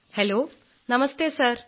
hello നമസ്തെ sir